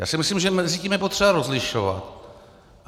Já si myslím, že mezi tím je potřeba rozlišovat.